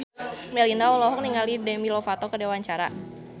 Melinda olohok ningali Demi Lovato keur diwawancara